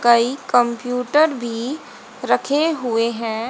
कई कंप्यूटर भी रखे हुए हैं।